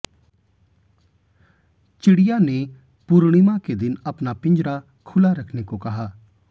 चिड़िया ने पूर्णिमा के दिन अपना पिंजरा खुला रखने को कहा